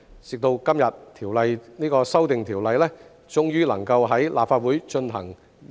直到今日，《條例草案》終於能夠在立法會進行二讀。